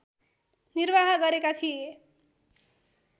निर्वाह गरेका थिए